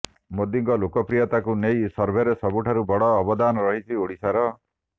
ମୋଦିଙ୍କ ଲୋକପ୍ରିୟତାକୁ ନେଇ ସର୍ଭେରେ ସବୁଠାରୁ ବଡ଼ ଅବଦାନ ରହିଛି ଓଡ଼ିଶାର